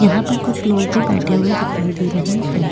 यहाँ पर कुछ लोग भी बैठे हुए दिखाई दे रहे है।